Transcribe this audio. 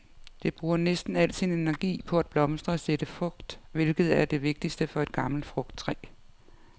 Det bruger næsten al sin energi på at blomstre og sætte frugt, hvilket er det vigtigste for et gammelt frugttræ.